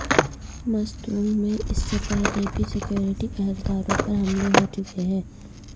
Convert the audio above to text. مستونگ میں اس سے پہلے بھی سکیورٹی اہلکاروں پر حملے ہو چکے ہیں